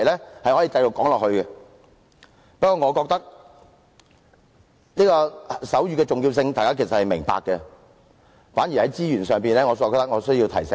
不過，我認為大家其實都明白手語的重要性，反而在資源方面，我覺得有需要提醒一下。